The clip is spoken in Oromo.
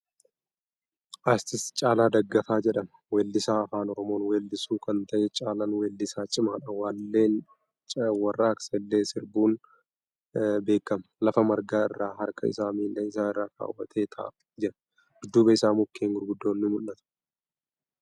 Artist Caalaa Daggafaa jedhama. Weellisaa Afaan Oromoon weellisu kan ta'e Caalaan wellisaa cimaadha. Walleewwan warraaqsaa illee sirbuun beekama. Lafa margaa irra, harka isaa miila isaa irra kaawwatee taa'aa jira. Dudduuba isaa mukkeen gurguddoon ni mul'atu.